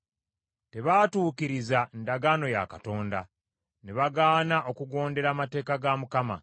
tebaatuukiriza ndagaano ya Katonda; ne bagaana okugondera amateeka ga Mukama .